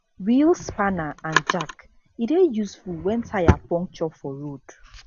wheel spanner and jack e dey useful wen tyre puncture for road